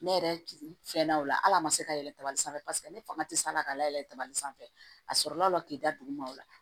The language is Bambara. Ne yɛrɛ fɛnna o la hali a ma se ka yɛlɛ dabali sanfɛ paseke ne fanga tɛ se san na ka layɛlɛ kaba sanfɛ a sɔrɔla la k'i da duguma o la